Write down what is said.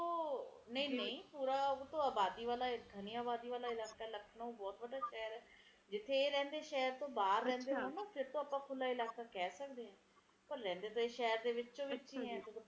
ਤੇ ਪੇੜ ਕੱਟਣ ਨਾਲ ਇਹ ਸਾਰਾ ਪ੍ਰਦੂਸ਼ਣ ਵੱਧ ਰਿਹਾ ਹੈ ਬੜਾ ਬੁਰਾ ਹਾਲ ਹੈ ਧਰਤੀ ਦਾ ਜਿਹੜੇ ਸਾਬ ਨਾਲ ਚਲ ਰਹੇ ਹੈ ਆਉਣ ਵਾਲੀ ਹਰਿਆਲੀ